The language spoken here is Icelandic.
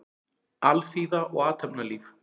Alþýða og athafnalíf.